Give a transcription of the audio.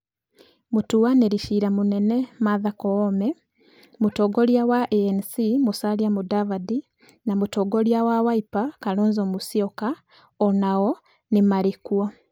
Mũtuanĩri cira mũnene Martha Koome, mũtongoria wa ANC Musalia Mudavadi na mũtongoria wa Wiper Kalonzo Musyoka o nao nĩ marĩ kuo.